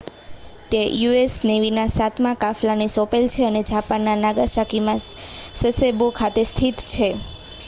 તે યુ.એસ નેવીના સાતમા કાફલાને સોંપેલ છે અને જાપાનના નાગાસાકીમાં સસેબો ખાતે સ્થિત છે